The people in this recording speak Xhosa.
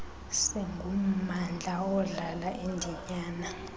singummandla odlala indinyana